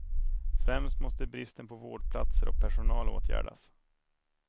Främst måste bristen på vårdplatser och personal åtgärdas.